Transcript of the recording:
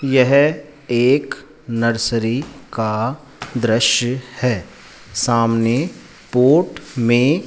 यह एक नर्सरी का दृश्य है सामने पॉट मे --